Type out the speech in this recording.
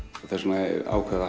þess vegna ákváðum